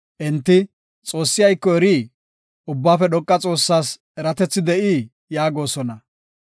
Enti, “Xoossi ayko erii? Ubbaafe Dhoqa Xoossaas eratethi de7ii?” yaagosona.